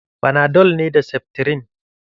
Fanadol ne da seftirin.